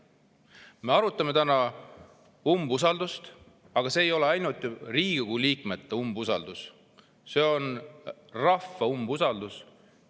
Me arutame täna umbusaldust, aga see ei ole ainult Riigikogu liikmete umbusaldus, see on ka rahva umbusaldus.